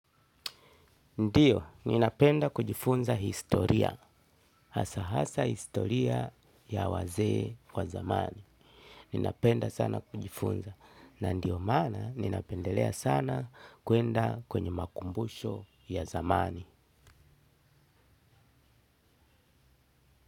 Ndiyo, ninapenda kujifunza historia, hasa hasa historia ya wazee wa zamani. Ninapenda sana kujifunza na ndiyo maana ninapendelea sana kuenda kwenye makumbusho ya zamani.